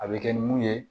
A bɛ kɛ ni mun ye